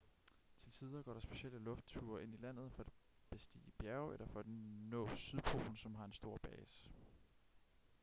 til tider går der specielle luftture ind i landet for at bestige bjerge eller for at nå sydpolen som har en stor base